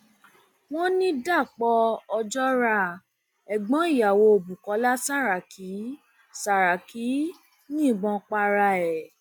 wọn ní dapò um ojora ẹgbọn ìyàwó bukola um saraki um saraki yìnbọn para ẹ